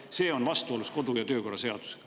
See on vastuolus kodu‑ ja töökorra seadusega.